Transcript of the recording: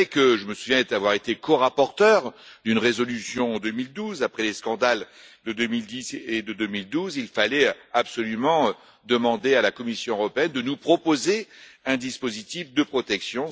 Je me souviens d'avoir été corapporteur d'une résolution en 2012 après les scandales de 2010 et de 2012, il fallait absolument demander à la Commission européenne de nous proposer un dispositif de protection.